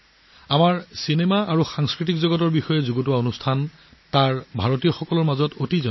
শিল্প জগতৰ সৈতে জড়িত আমাৰ ছবি আৰু আলোচনা তাত ভাৰতীয় সম্প্ৰদায়ৰ মাজত অতি জনপ্ৰিয়